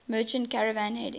merchant caravan heading